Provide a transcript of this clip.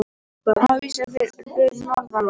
Hafís fyrir norðan land